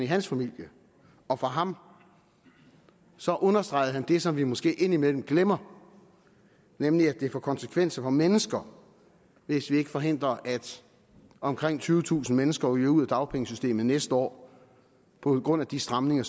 hans familie og for ham så understregede han det som vi måske indimellem glemmer nemlig at det får konsekvenser for mennesker hvis vi ikke forhindrer at omkring tyvetusind mennesker ryger ud af dagpengesystemet næste år på grund af de stramninger